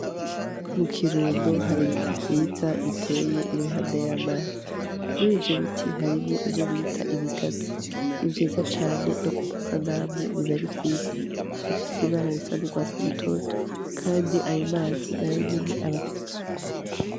Mu Kirundo hari ibiti vyiza biteye iruhande y'amazi. Muri ivyo biti harimwo ivyo bita ibigazi, ni vyiza cane no ku masanamu biba ari vyiza. Bifise ibara risa n'urwatsi rutoto kandi ayo mazi na yo nyene aba afise isuku.